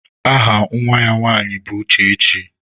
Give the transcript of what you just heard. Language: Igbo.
Aha Nwa ya nwaanyị bụ Uchechi.